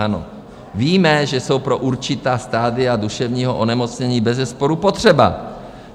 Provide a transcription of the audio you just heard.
Ano, víme, že jsou pro určitá stadia duševního onemocnění bezesporu potřeba.